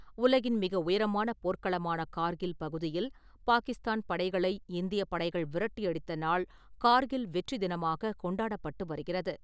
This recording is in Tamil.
உலகின் மிக உயரமான போர்க் களமான கார்கில் பகுதியில் பாகிஸ்தான் படைகளை இந்தியப் படைகள் விரட்டி அடித்த நாள் கார்கில் வெற்றி தினமாக கொண்டாடப்பட்டு வருகிறது.